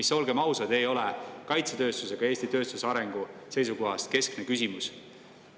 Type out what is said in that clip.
See, olgem ausad, ei ole kaitsetööstuse ega Eesti tööstuse arengu seisukohast keskne küsimus.